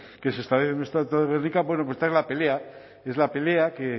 que se establecen en el estatuto de gernika bueno pues la pelea y es la pelea que